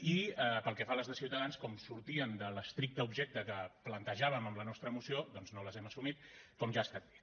i pel que fa a les de ciutadans com que sortien de l’estricte objecte que plantejàvem en la nostra moció doncs no les hem assumit com ja ha estat dit